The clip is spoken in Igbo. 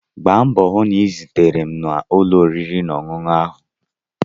Gba mbọ hụ na ị zutere m na ụlọ oriri na ọṅụṅụ ahụ echi!